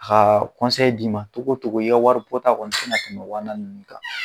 Haa d'i ma togo togo i ka waribɔta kɔni tɛ na tɛmɛ wa naani ninnu ka.